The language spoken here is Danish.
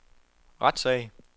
retssag